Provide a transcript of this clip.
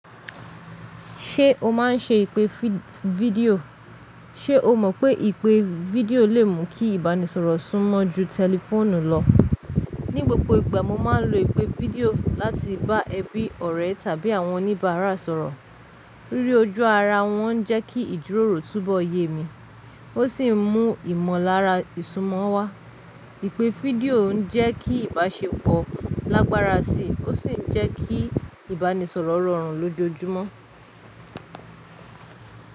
Ṣé o máa ń ṣe ìpè fídíò? Ṣé o mọ̀ pé ìpè fídíò lè mú kí ìbánisọ̀rọ̀ súnmọ́ ju tẹlifóònù lọ? Ní gbogbo ìgbà mo máa ń lo ìpè fídíò láti bá ẹbí ọ̀rẹ́ tàbí àwọn oníbàárà sọ̀rọ̀. Ríri ojú ara wọn jẹ́ kí ìdúró róò tú bọ́ yé mi, ó sì ń mú ìmọ̀lára ìsúnmọ́ wá. Ìpè fídíò ń jẹ́ kí ìbáṣepọ̀ lágbára sí i, ó sì ń jẹ́ kí ìbánisọ̀rọ̀ rọrùn lójoojúmọ́.